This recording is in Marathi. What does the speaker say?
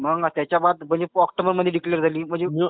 मग त्याच्या बाद ऑक्टोबर मध्ये डिक्लेअर झाली.